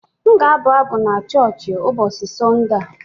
M ga-abụ abụ n'choochi ụbọọchị Sọnde a.